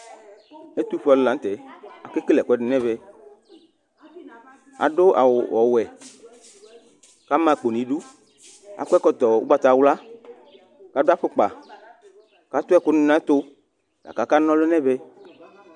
Ɛtʋfuealʋ nɩla nʋ tɛ, akekele ɛkʋɛdɩ nʋ ɛvɛ Adʋ awʋ ɔwɛ, kʋ ama akpo nʋ idu Akɔ ɛkɔtɔ ugbatawla, kʋ adʋ afukpa, kʋ atu ɛkʋnɩ nʋ ɛtʋ, akʋ akanɔlʋ yɛ nʋ ɛvɛ